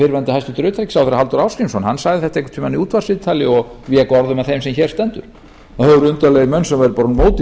fyrrverandi hæstvirtur utanríkisráðherra halldór ásgrímsson hann sagði þetta einhvern tíma í útvarpsviðtali og vék orðum að þeim sem hér stendur það